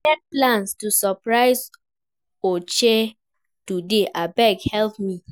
I get plans to surprise Ogechi today abeg help me